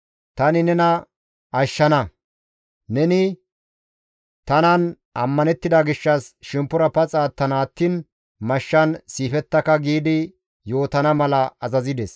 Tani nena ashshana; neni tanan ammanettida gishshas shemppora paxa attana attiin mashshan siifettaka» giidi yootana mala azazides.